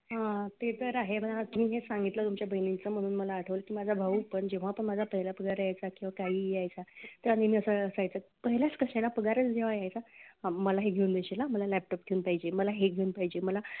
हा ते तर आहे ना की हे तुम्ही जे सांगितलं तुमच्या बहिणीचे मला म्हणून मला आठवलं की माझा भाऊ पण जेव्हा पण माझा पहिला पगार यायचा तर काही यायच्या पहिलाच कशाला पगारच जेव्हा यायचा हा मग मला हे घेऊन देशील ना मला laptop घेऊन पाहिजे मला हे घेऊन पाहिजे. मला